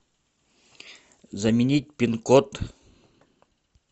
заменить пин код